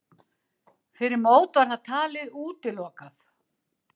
Fyrir mót var það talið útilokað.